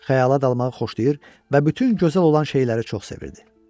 Xəyala dalmağı xoşlayır və bütün gözəl olan şeyləri çox sevirdi.